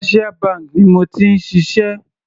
Commercial bank ni mo ti ń ṣiṣẹ́.